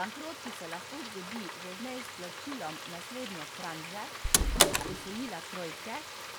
Bankrot, ki se lahko zgodi že z neizplačilom naslednje tranše posojila trojke,